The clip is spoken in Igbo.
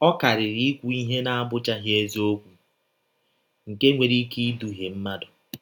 Ọ karịrị ikwụ ihe na - abụchaghị eziọkwụ nke nwere ike idụhie mmadụ.